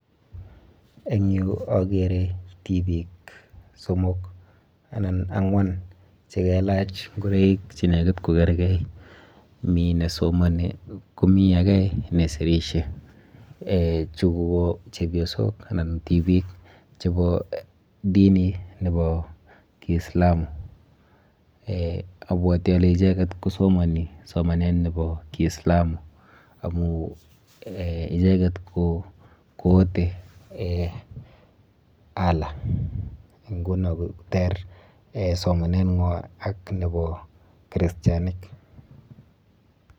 Eng yu akere tibik somok anan ang'wan chekelach ngureik che nekit kokerkei. Mi nesomani komi ake nesirishe. Chu ko chepyosok anan tibik chepo dini nepo kiislamu eh abwoti ale icheket kosomoni somanet nepo kiislamu amu icheket koote eh Allah nkuno koter eh somaneng'wa ak nepo kristianik.